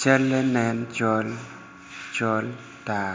calle nen col col tar